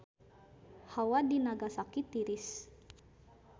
Hawa di Nagasaki tiris